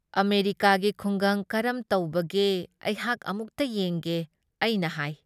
ꯑꯃꯦꯔꯤꯀꯥꯒꯤ ꯈꯨꯡꯒꯪ ꯀꯔꯝ ꯇꯧꯕꯒꯦ ꯑꯩꯍꯥꯛ ꯑꯃꯨꯛꯇ ꯌꯦꯡꯒꯦ ꯑꯩꯅ ꯍꯥꯏ ꯫